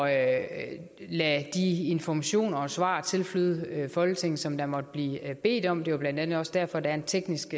at lade de informationer og svar tilflyde folketinget som der måtte blive bedt om det er blandt andet også derfor at der er en teknisk